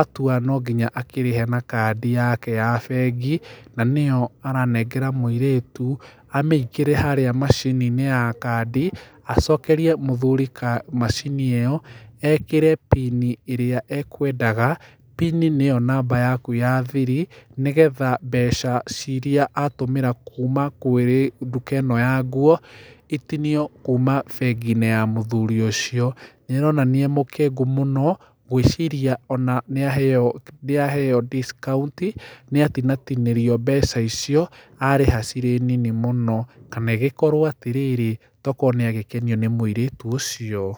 atua gũtũmĩra kũrĩha na kandi yake ya bengi, na nĩyo aranengera mũirĩtu, amĩkĩre harĩa macini-inĩ kandi, acokerie mũthuri kamacini ĩyo ekĩre PIN ĩrĩa ekwendaga, PIN nĩyo namba yaku ya thiri, nĩgetha mbeca iria atũmĩra kuuma kwĩ nduka-inĩ ĩyo ya nguo, ĩtinie kuuma bengi-inĩ ya mũthuri ũcio, nĩ aronania emũkengu, gũiciria nĩaheyo discount, nĩatinatinĩrio mbeca icio, arĩha cirĩ nini mũno, kana agĩkorwo atĩrĩrĩ, tokorwo nĩ agĩkenio nĩ mũirĩtu ũcio.